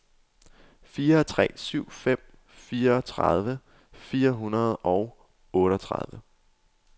fire tre syv fem fireogtredive fire hundrede og otteogtredive